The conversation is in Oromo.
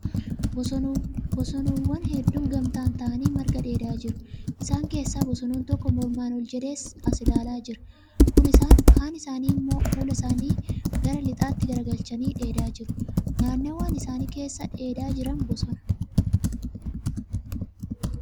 Bosonuuwwan hedduun gamtaan ta'anii marga dheedaa jiru. Isaan keessa bosonuun tokko mormaan ol jedhee sa ilaalaa jira. Kun isaanii immoo fuula isaanii gara lixaatti garagalchanii dheedaa jiru. Naannawwaan isaan keessa dheedaa jiran bosona.